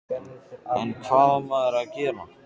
En hvað á maður að gera?